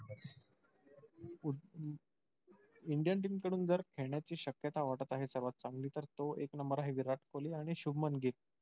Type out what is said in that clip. indian team कडून जर खेळण्याची शक्यता वाटत आहे सर्वात चांगली तर तो एक number आहे. विराट कोहली आणि शुभमन गिल.